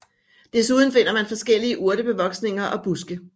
Desuden finder man forskellige urtebevoksninger og buske